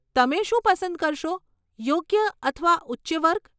તમે શું પસંદ કરશો, યોગ્ય અથવા ઉચ્ચ વર્ગ?